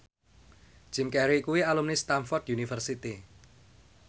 Jim Carey kuwi alumni Stamford University